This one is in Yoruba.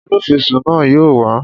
Olúfisún náà yóò wá